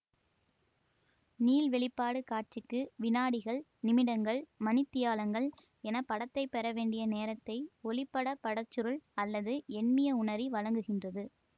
நீள்வெளிப்பாடு காட்சிக்கு வினாடிகள் நிமிடங்கள் மணித்தியாலங்கள் என படத்தை பெற வேண்டிய நேரத்தை ஒளிப்பட பட சுருள் அல்லது எண்மிய உணரி வழங்குகின்றது